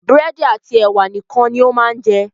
Búrẹ́dì àti ẹ̀wà nìkan ni ó máa ń jẹ.